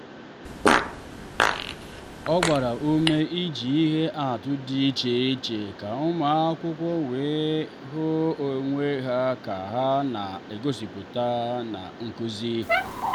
ọ gbara ume iji ihe atụ dị iche iche ka ụmụ akwụkwọ wee hụ onwe ha ka ha na-egosipụta na nkuzi.